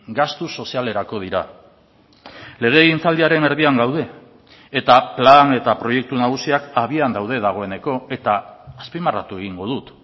gastu sozialerako dira legegintzaldiaren erdian gaude eta plan eta proiektu nagusiak abian daude dagoeneko eta azpimarratu egingo dut